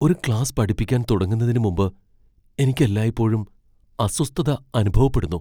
ഒരു ക്ലാസ്സ് പഠിപ്പിക്കാൻ തുടങ്ങുന്നതിനുമുമ്പ് എനിക്ക് എല്ലായ്പ്പോഴും അസ്വസ്ഥത അനുഭവപ്പെടുന്നു.